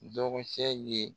Dɔgɔcɛ ye